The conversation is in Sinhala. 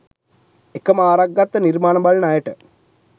එකම ආරක් ගත්ත නිර්මාණ බලන අයට